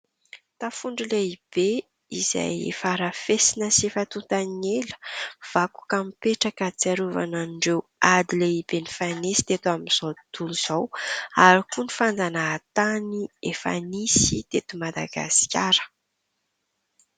Tafondro lehibe izay efa arafesina sy efa tonta ny ela. Vakoka mipetraka ahatsiarovana an'ireo ady lehibe nifanesy teto amin'izao tontolo izao ary koa ny fanjanahantany efa nisy teto Madagasikara.